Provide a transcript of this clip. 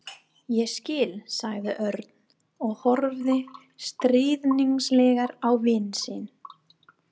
Ég skil sagði Örn og horfði stríðnislega á vin sinn.